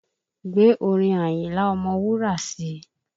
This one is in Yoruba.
Gbé orin Àyìnlá ọmọwúrà sì!